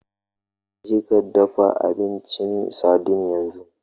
Jeka dafa duk abincin sardine yanzu!